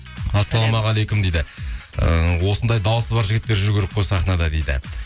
ассалаумағалейкум дейді ыыы осындай дауысы бар жігіттер жүру керек қой сахнада дейді